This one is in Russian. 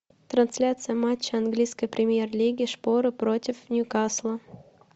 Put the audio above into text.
трансляция матча английской премьер лиги шпоры против ньюкасла